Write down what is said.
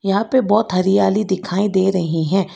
यहां पर बहुत हरियाली दिखाई दे रही हैं।